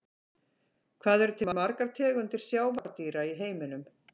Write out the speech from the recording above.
Hvað eru til margar tegundir sjávardýra í heiminum?